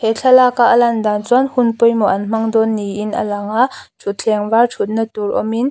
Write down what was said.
he thlalak a alan dan chuan hun pawimawh an hmangdawn niin a lang a thuthleng var thut natur awmin--